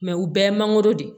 u bɛɛ ye mangoro de ye